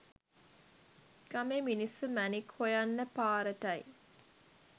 ගමේ මිනිස්‌සු මැණික්‌ හොයන්න පාරටයි